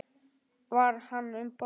Var hann um borð?